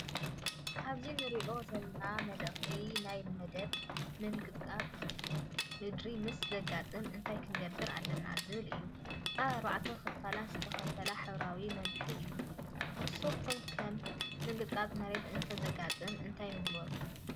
ኣብዚ እንርእዮ ዘለና መልእኽቲ ናይ መደብ “ምንቅጥቃጥ ምድሪ ምስ ዘጋጥም እንታይ ክንገብር ኣለና?” ዝብል እዩ። ኣብ ኣርባዕተ ክፋላት ዝተኸፋፈለ ሕብራዊ መምርሒ እዩ። ንስኩም ከ ምንቅጥቃጥ ምድሪ እንተ ዘጋጥም እንታይ ምገበርኩም?